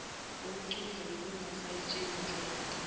wokucupha bekungusayitsheni nhleko